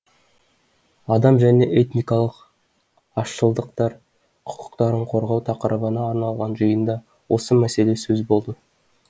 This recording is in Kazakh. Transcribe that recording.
адам және этникалық азшылықтар құқықтарын қорғау тақырыбына арналған жиында осы мәселе сөз болды